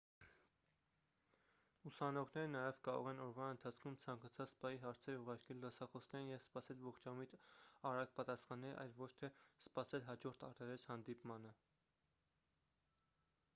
ուսանողները նաև կարող են օրվա ընթացքում ցանկացած պահի հարցեր ուղարկել դասախոսներին և սպասել ողջամիտ արագ պատասխանների այլ ոչ թե սպասել հաջորդ առերես հանդիպմանը